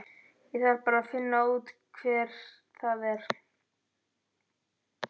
Ég þarf bara að finna út hver það er.